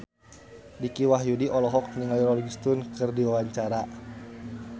Dicky Wahyudi olohok ningali Rolling Stone keur diwawancara